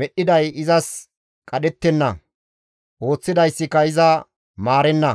medhdhiday izas qadhettenna; ooththidayssika iza maarenna.